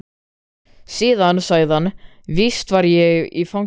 Síðan sagði hann: Víst var ég í fangelsinu.